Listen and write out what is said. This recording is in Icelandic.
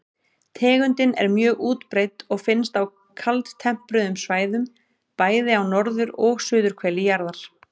Tegundin er mjög útbreidd og finnst á kaldtempruðum svæðum, bæði á norður- og suðurhveli jarðar.